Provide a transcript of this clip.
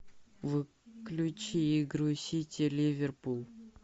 включи игру сити ливерпуль